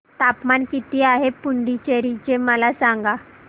तापमान किती आहे पुडुचेरी चे मला सांगा